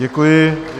Děkuji.